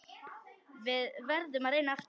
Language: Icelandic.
Við verðum að reyna aftur.